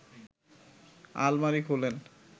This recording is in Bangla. আলমারি খোলেন